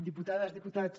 diputades diputats